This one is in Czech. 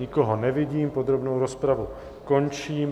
Nikoho nevidím, podrobnou rozpravu končím.